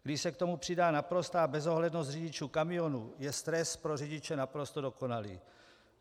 Když se k tomu přidá naprostá bezohlednost řidičů kamionů, je stres pro řidiče naprosto dokonalý.